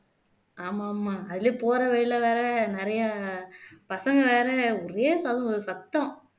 ஆமா ஆமா அதுலையே போற வழியில வேற நிறைய பசங்க வேற ஒரே சத் சத்தம்